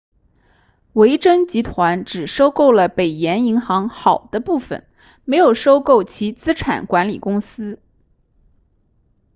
维珍集团只收购了北岩银行好的部分没有收购其资产管理公司